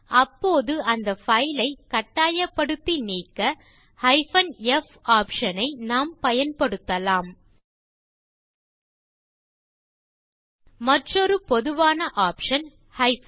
அப்போது அந்த பைல் ஐ கட்டாயப்படுத்தி நீக்க f ஆப்ஷன் ஐ நாம் பயன்படுத்தலாம் மற்றொரு பொதுவான ஆப்ஷன் r